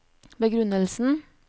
begrunnelsen